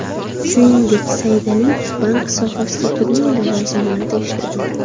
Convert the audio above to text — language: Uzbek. Shuningdek, Saydaliyev bank sohasida turli lavozimlarda ishlagan.